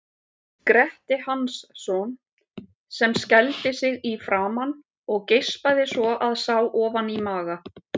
Gretti Hansson, sem skældi sig í framan og geispaði svo að sá ofan í maga.